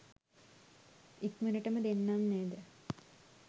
ඉක්මනටම දෙන්නම් නේද?